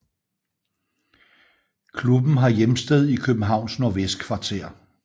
Klubben har hjemsted i Københavns Nordvestkvarter